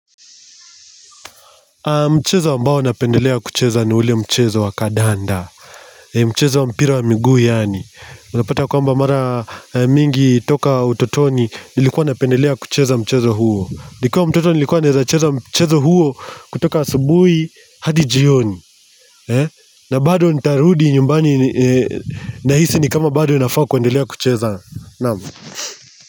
Mchezo ambao napendelea kucheza ni ule mchezo wa kandanda. Mchezo wa mpira wa miguu yaani unapata kwamba mara mingi toka utotoni nilikuwa napendelea kucheza mchezo huo. Nikiwa mtoto nilikuwa naeza cheza mchezo huo kutoka asubuhi hadi jioni. Na bado nitarudi nyumbani nahisi ni kama bado ninafaa kuendelea kucheza. Naam.